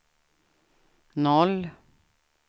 noll